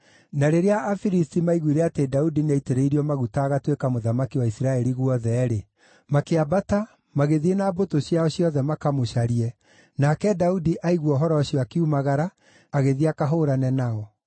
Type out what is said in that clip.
Na rĩrĩa Afilisti maaiguire atĩ Daudi nĩaitĩrĩirio maguta agatuĩka mũthamaki wa Isiraeli guothe-rĩ, makĩambata, magĩthiĩ na mbũtũ ciao ciothe makamũcarie, nake Daudi aigua ũhoro ũcio akiumagara, agĩthiĩ akahũũrane nao.